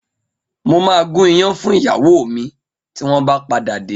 Mo ma gún iyán fún ìyàwó mi tí wọ́n bá padà dé